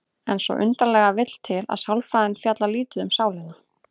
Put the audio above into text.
En svo undarlega vill til að sálfræðin fjallar lítið um sálina.